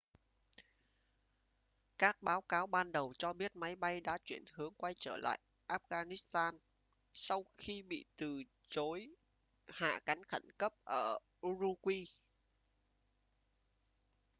các báo cáo ban đầu cho biết máy bay đã chuyển hướng quay trở lại afghanistan sau khi bị từ chối hạ cánh khẩn cấp ở ürümqi